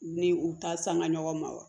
Ni u ta sanga ɲɔgɔn ma wa